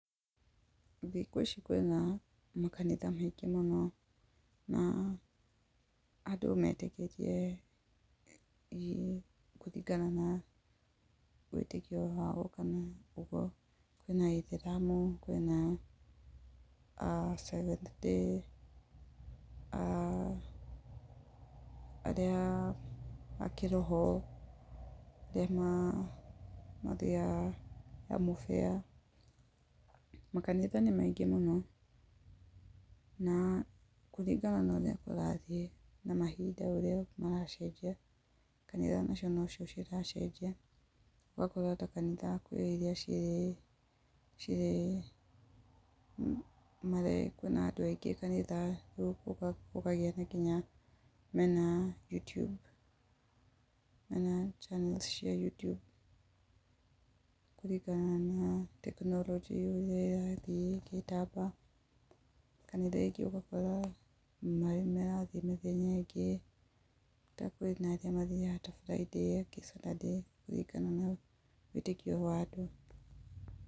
Thikũ ici kwĩna makanitha maingĩ mũno. Na andũ metĩkĩtie kũringana na wĩtĩkio wao kana ũguo, kwĩ na Aithiramu kwĩ na a Seventh Day, aah arĩa a kĩroho, arĩa mathiaga ya mũbia. Makanitha nĩ maingi mũno. Na kũringana na ũrĩa kũrathiĩ na mahinda ũrĩa maracenjia, kanitha nacio ciracenjia, ũgakora ta kanitha kwĩ irĩa cirĩ cirĩ, marĩ kwĩna andũ aingĩ kanitha gũkũ, gũkagia nginya mena YouTube kana Channel cia YouTube kũringana na technology ũrĩa ĩrathiĩ ĩgĩtambaga kana rĩngĩ ũgakora marĩ marathiĩ mĩthenya ĩngĩ ta kwĩ na angĩ mathiaga ta Friday[c] na arĩa angĩ Saturday kũringana na wĩtĩkio wa andũ.